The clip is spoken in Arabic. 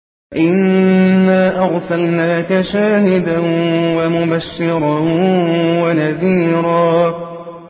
إِنَّا أَرْسَلْنَاكَ شَاهِدًا وَمُبَشِّرًا وَنَذِيرًا